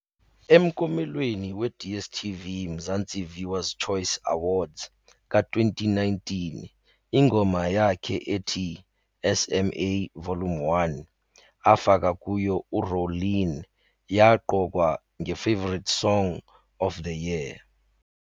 Emkomelweni we-Dstv Mzansi Viewers Choice Awards ka-2019 ingoma yakhe ethi "SMA, Vol. 1" afaka kuyo u-Rowlene yaqokwa ngeFavourite Song Of the Year.